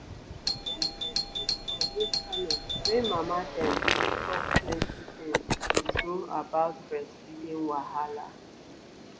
e get this group for internet wey mama dem dey talk plenty things true true about breastfeeding wahala.